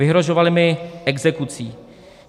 Vyhrožovali mi exekucí.